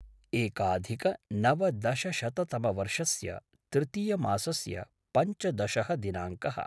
एकाधिकनवदशशततमवर्षस्य तृतीयमासस्य पञ्चदशः दिनाङ्कः